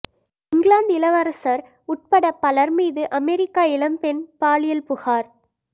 இங்கிலாந்து இளவரசர் உட்பட பலர் மீது அமெரிக்க இளம்பெண் பாலியல் புகார்